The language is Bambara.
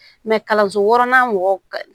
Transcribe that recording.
kalanso wɔɔrɔnan mɔgɔw ka